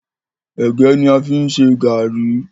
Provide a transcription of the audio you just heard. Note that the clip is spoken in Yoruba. Ẹ̀gẹ́ ní a fi ń ṣe gàrí.